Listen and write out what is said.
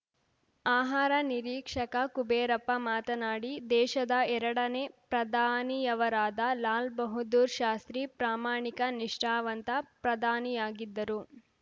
ಆಹಾರ ನಿರೀಕ್ಷಕ ಕುಬೇರಪ್ಪ ಮಾತನಾಡಿ ದೇಶದ ಎರಡನೇ ಪ್ರಧಾನಿಯವರಾದ ಲಾಲ್‌ ಬಹದ್ದೂರ್‌ ಶಾಸ್ತ್ರಿ ಪ್ರಾಮಾಣಿಕ ನಿಷ್ಠಾವಂತ ಪ್ರಧಾನಿಯಾಗಿದ್ದರು